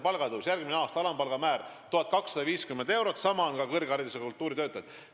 Järgmisel aastal on õpetajate alampalga määr 1250 eurot, samasugune palgatõus tuleb kõrgharidusega kultuuritöötajatele.